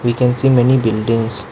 We can see many buildings.